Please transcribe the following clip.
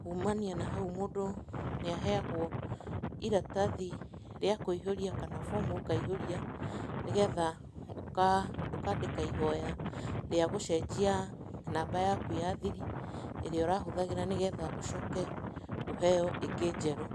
kuumania nahau mũndũ nĩ aheyagwo iratathi rĩa kũihũria kana bomu ũkaihũria, nĩgetha ũkandĩka ihoya rĩa gũcenjia namba yaku ya thiri, ĩrĩa ũrahũthagĩra nĩgetha ũcoke ũheyo ĩngĩ njerũ.